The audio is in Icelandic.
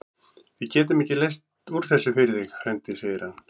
Við getum ekki leyst úr þessu fyrir þig, frændi segir hann.